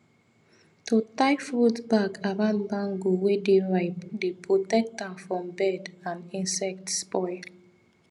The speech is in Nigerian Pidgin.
to tie fruit bag around mango wey dey ripe dey protect am from bird and insect spoil